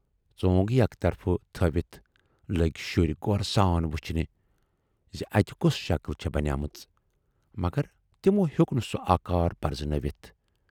ژۅنگ یکطرف تھٲوِتھ لٔگۍ شُرۍ غورٕ سان وُچھنہِ زِ اتہِ کۅس شکٕل چھَ بنے مٕژ، مگر تِمو ہیوک نہٕ سُہ آکار پرزٕنٲوِتھ۔